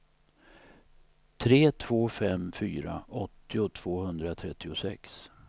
tre två fem fyra åttio tvåhundratrettiosex